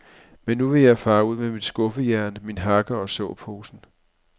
Men nu vil jeg fare ud med mit skuffejern, min hakke og såposen.